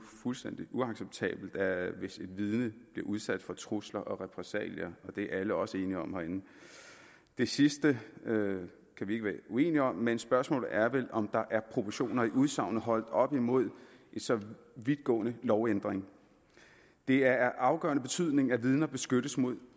fuldstændig uacceptabelt hvis et vidne bliver udsat for trusler og repressalier og det er alle herinde også enige om det sidste kan vi ikke være uenige om men spørgsmålet er vel om der er proportioner i udsagnet holdt op imod en så vidtgående lovændring det er af afgørende betydning at vidner beskyttes mod